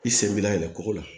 I sen b'i layɛlɛ ko la